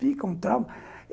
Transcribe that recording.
Fica um trauma.